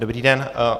Dobrý den.